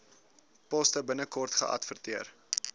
poste binnekort geadverteer